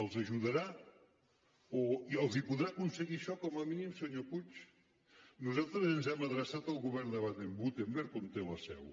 els ajudarà els podrà aconseguir això com a mínim senyor puig nosaltres ens hem adreçat al govern de baden württemberg on té la seu